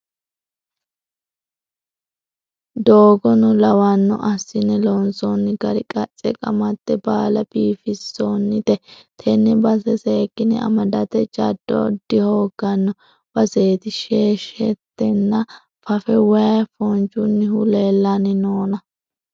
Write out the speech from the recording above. Doogono lawano assine loonsonni gari qace qamate baalla biifisonnite tene base seekkine amadate jado dihoogano baseti sheshetenna fafe waayi foonchunihu leellanni noonna.